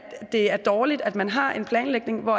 det er dårligt at man har en planlægning hvor